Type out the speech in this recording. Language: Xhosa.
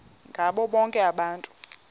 ngabo bonke abantu